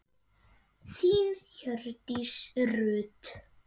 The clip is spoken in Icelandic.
Þín Hjördís Rut.